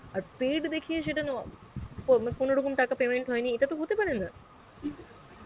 আর paid দেখিয়ে সেটা মান~ ও কোনো রকম তাকে payment হয়েনি এটাত হতে পারেনা